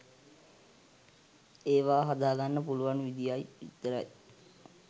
ඒවා හදාගන්න පුළුවන් විදියයි විතරයි